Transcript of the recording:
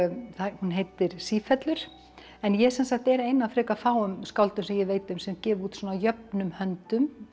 hún heitir en ég sem sagt er ein af frekar fáum skáldum sem ég veit um sem gef út svona jöfnum höndum